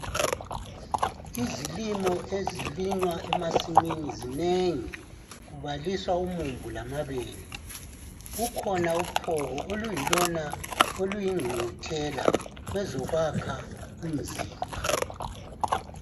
Izilimo ezilinywa emasimini zinengi kubaliswa umumbu lamabele kukhona uphoko oluyilona oluyingqungquthela kwezokwakha umzimba.